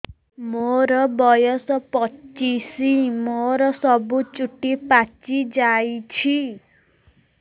ମୋର ବୟସ ପଚିଶି ମୋର ସବୁ ଚୁଟି ପାଚି ଯାଇଛି